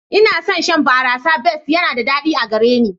Ina son shan barasar best yana da daɗi a gare ni.